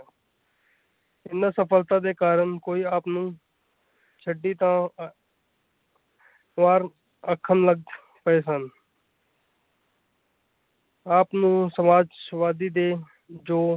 ਇਹਨਾਂ ਸਫਲਤਾ ਦੇ ਕਾਰਨ ਕੋਈ ਆਪ ਨੂੰ ਚੰਡੀ ਦੀ ਵਾਰ ਆਖਣ ਲੱਗ ਪਏ ਸਨ ਆਪ ਨੂੰ ਸਮਾਜ ਸਵਾਦੀ ਦੇ ਜੋ।